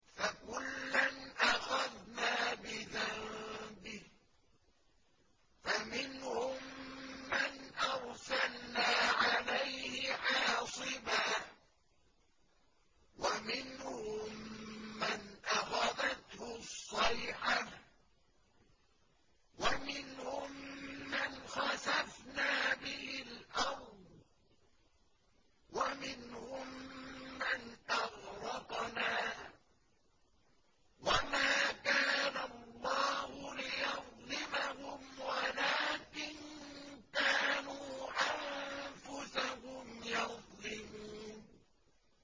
فَكُلًّا أَخَذْنَا بِذَنبِهِ ۖ فَمِنْهُم مَّنْ أَرْسَلْنَا عَلَيْهِ حَاصِبًا وَمِنْهُم مَّنْ أَخَذَتْهُ الصَّيْحَةُ وَمِنْهُم مَّنْ خَسَفْنَا بِهِ الْأَرْضَ وَمِنْهُم مَّنْ أَغْرَقْنَا ۚ وَمَا كَانَ اللَّهُ لِيَظْلِمَهُمْ وَلَٰكِن كَانُوا أَنفُسَهُمْ يَظْلِمُونَ